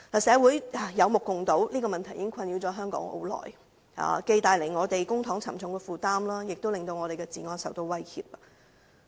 社會有目共睹，這問題已困擾了香港很久，既為公帑帶來沉重負擔，亦令我們的治安受到威脅。